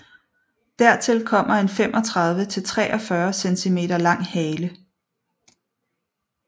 Dertil kommer en 35 til 43 centimeter lang hale